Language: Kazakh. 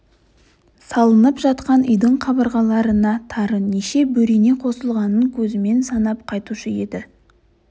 салынып жатқан үйдің қабырғаларына тары неше бөрене қосылғанын көзімен санап қайтушы еді